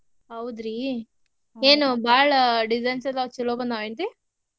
ಹೌದ್ರೀ ಏನೂ ಬಾಳ designs ಎಲ್ಲಾ ಚೊಲೋ ಬಂದಾವ್ ಏನ್ರೀ?